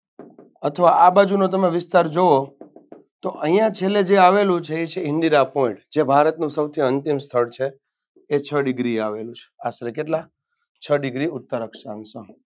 અથવા આ બાજુનો તમે વિસ્તાર જુઓ તો અહિયાં છેલ્લે જે આવેલું છે એ છે ઇન્દિરા Point જે ભારતનું સૌથી અંતિમ સ્થળ છે એ છ Degree એ આવેલું છે. આશરે કેટલા છ Degree ઉત્તર અક્ષાંશ